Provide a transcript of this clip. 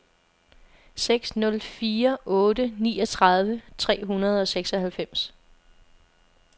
seks nul fire otte niogtredive tre hundrede og seksoghalvfems